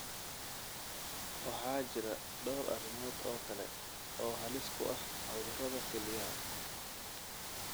Waxaa jira dhowr arrimood oo kale oo halis u ah cudurrada kelyaha.